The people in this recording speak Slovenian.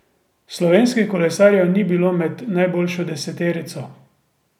Slovenskih kolesarjev ni bilo med najboljšo deseterico.